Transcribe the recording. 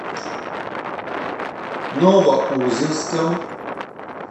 новоузенском